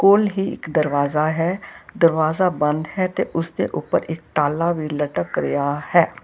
ਕੋਲ ਹੀ ਇੱਕ ਦਰਵਾਜ਼ਾ ਹੈ ਦਰਵਾਜ਼ਾ ਬੰਦ ਹੈ ਤੇ ਉਸਦੇ ਉਪਰ ਇਕ ਤਾਲਾ ਵੀ ਲਟਕ ਰਿਹਾ ਹੈ।